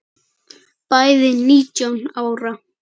Bæði nítján ára.